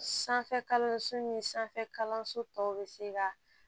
Sanfɛ kalanso ni sanfɛ kalanso tɔw bɛ se ka